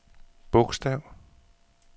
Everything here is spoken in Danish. bogstav